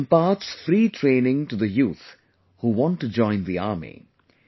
He imparts free training to the youth who want to join the army